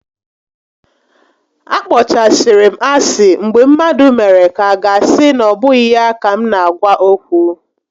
A kpọchasịrị m asị mgbe mmadụ mere ka aga asị na obụghị ya ka m na-agwa okwu